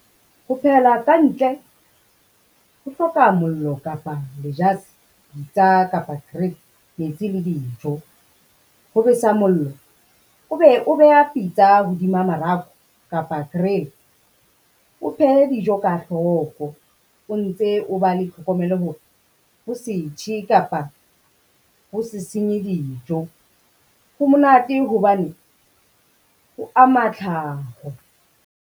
Ho phehela ka ntle ho hloka mollo kapa , pitsa, kapa grill metsi le dijo. Ho besa mollo o be o beha pitsa hodima mararo kapa grill, o phehe dijo ka hloko o ntse o ba le tlhokomelo hore, ho se tjhe kapa ho se senye dijo. Ho monate hobane ho ama tlhaho.